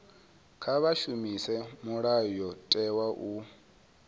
kha vha shumise mulayotewa u